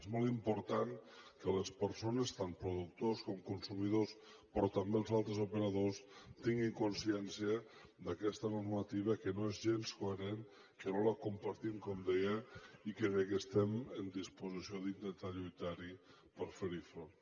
és molt important que les persones tant productors com consumidors però també els altres operadors tinguin consciència d’aquesta normativa que no és gens coherent que no la compartim com deia i que estem en disposició d’intentar lluitar per fer hi front